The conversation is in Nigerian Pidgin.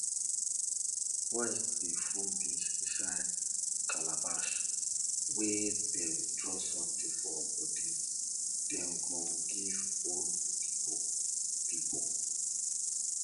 boys dey full beans inside calabash wey dem draw something for body dem go give old pipo pipo